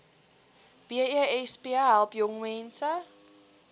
besp help jongmense